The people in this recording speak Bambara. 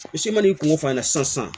Misi ma n'i kungo f'a ɲɛna sisan